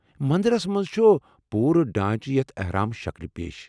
مندرس منٛز چُھ پورٕ ڈھانچہٕ یتھ احرام شکلہ پیش ۔